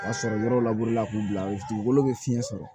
O y'a sɔrɔ yɔrɔw laburela k'u bila u dugukolo bɛ fiɲɛ sɔrɔ